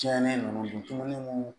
Tiɲɛnen ninnu